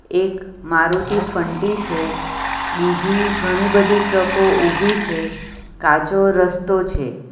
એક મારુતિ ફન્ટી છે બીજી ઘણી બધી ટ્રક ઑ ઉભી છે કાચો રસ્તો છે.